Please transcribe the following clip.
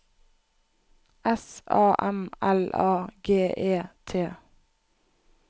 S A M L A G E T